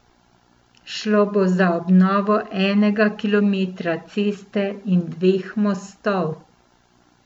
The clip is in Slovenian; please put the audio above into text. Šlo bo za obnovo enega kilometra ceste in dveh mostov.